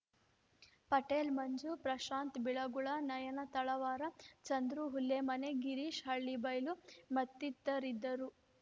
ಪಟೇಲ್‌ ಮಂಜು ಪ್ರಶಾಂತ್‌ ಬಿಳಗುಳ ನಯನ ತಳವಾರ ಚಂದ್ರು ಹುಲ್ಲೆಮನೆ ಗಿರೀಶ್‌ ಹಳ್ಳಿಬೈಲು ಮತ್ತಿತರರಿದ್ದರು